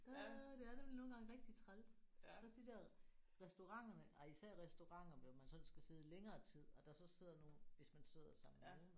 Øh det er nemlig nogle gange rigtig træls og de der restauranterne nej især restauranter hvor man sådan skal sidde i længere tid og der så sidder nogle hvis man sidder sammen med nogen